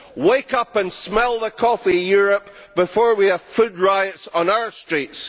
Wake up and smell the coffee, Europe, before we have food riots on our streets!